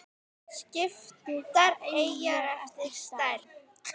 Skiptar eyjar eftir stærð